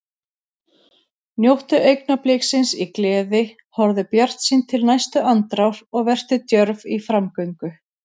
Njóttu augnabliksins í gleði, horfðu bjartsýn til næstu andrár og vertu djörf í framgöngu.